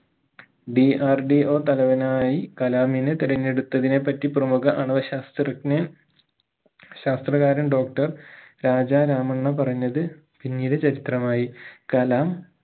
DRDO തലവനായി കലാമിനെ തെരഞ്ഞടുത്തതിനെ പറ്റി പ്രമുഖ ആണവ ശാസ്ത്രജ്ഞൻ ശാസ്ത്രകാരൻ doctor രാജ രാമണ്ണ പറഞ്ഞത് പിന്നീട് ചരിത്രമായി കലാം